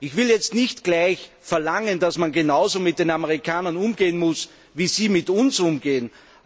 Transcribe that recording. Ich will jetzt nicht gleich verlangen, dass man genauso mit den Amerikanern umgehen muss, wie sie mit uns umgehen.